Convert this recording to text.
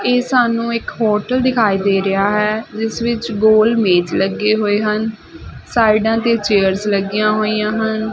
ਇਹ ਸਾਨੂੰ ਇੱਕ ਹੋਟਲ ਦਿਖਾਈ ਦੇ ਰਿਹਾ ਹੈ ਜਿਸ ਵਿੱਚ ਗੋਲ ਮੇਜ ਲੱਗੇ ਹੋਏ ਹਨ ਸਾਈਡਾਂ ਤੇ ਚੇਅਰਸ ਲੱਗੀਆਂ ਹੋਈਆਂ ਹਨ।